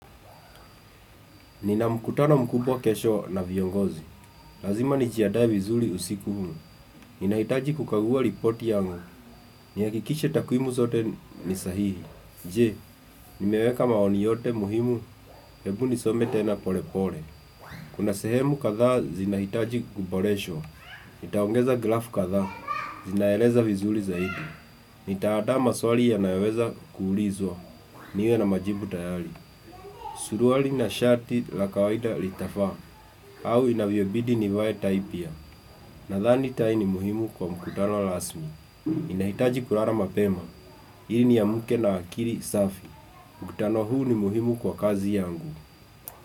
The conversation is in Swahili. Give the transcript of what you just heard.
Nina mkutano mkubwa kesho na viongozi. Lazima nijiandae vizuri usiku huu. Ninahitaji kukagua ripoti yangu. Ni hakikishe takwimu zote ni sahihi. Je, nimeweka maoni yote muhimu? Hebu nisome tena pole pole. Kuna sehemu kadhaa zinahitaji kuboreshwa. Nitaongeza grafu kadhaa. Zinaeleza vizuri zaidi. Nitaandaa maswali yanayoweza kuulizwa. Niwe na majibu tayari. Suruali na shati la kawaida litafaa. Au inavyobidi nivae ata ipya Nadhani tai ni muhimu kwa mkutano rasmi Ninahitaji kulala mapema ili niamke na akili safi, mkutano huu ni muhimu kwa kazi yangu.